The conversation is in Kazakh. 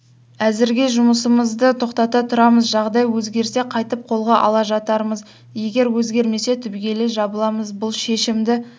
әзірге жұмысымызды тоқтата тұрамыз жағдай өзгерсе қайтып қолға ала жатармыз егер өзгермесе түбегейлі жабыламыз бұл шешімді